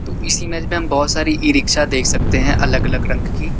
इस इमेज में कई सारी ई रिक्शा देख सकते हैं अलग अलग रंग की।